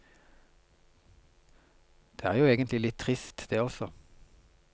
Det er jo egentlig litt trist, det også.